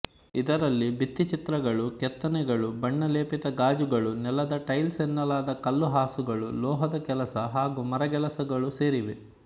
ಇದರಲ್ಲಿ ಭಿತ್ತಿಚಿತ್ರಗಳು ಕೆತ್ತನೆಗಳು ಬಣ್ಣಲೇಪಿತ ಗಾಜುಗಳು ನೆಲದ ಟೈಲ್ಸ್ನೆಲದ ಕಲ್ಲುಹಾಸುಗಳು ಲೋಹದ ಕೆಲಸ ಹಾಗು ಮರಗೆಲಸಗಳು ಸೇರಿವೆ